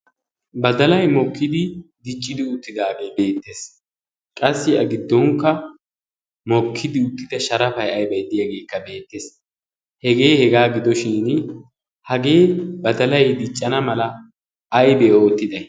badalai mokkidi diccidi uuttidaagee beettees qassi a giddonkka mokkidi uttida sharafai aibaiddiyaageekka beettees hegee hegaa gidoshin hagee ba dalai diccana mala aibee oottida?